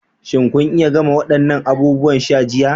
Shin kun iya gama waɗannan abubuwan sha jiya?